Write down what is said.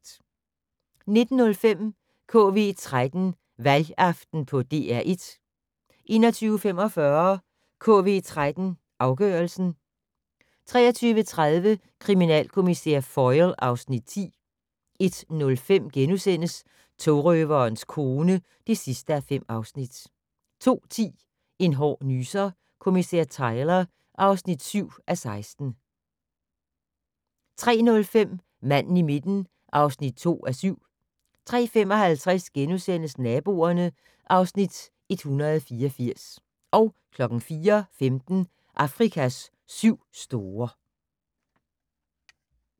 19:05: KV13 Valgaften på DR1 21:45: KV13 Afgørelsen 23:30: Kriminalkommissær Foyle (Afs. 10) 01:05: Togrøverens kone (5:5)* 02:10: En hård nyser: Kommissær Tyler (7:16) 03:05: Manden i midten (2:7) 03:55: Naboerne (Afs. 184)* 04:15: Afrikas syv store